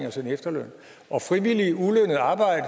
i sin efterløn og frivilligt ulønnet arbejde